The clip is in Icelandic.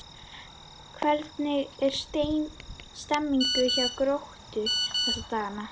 Hvernig er stemningin hjá Gróttu þessa dagana?